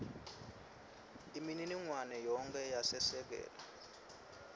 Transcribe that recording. imininingwane yonkhe yesekela